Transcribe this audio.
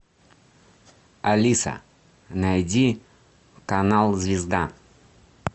алиса найди канал звезда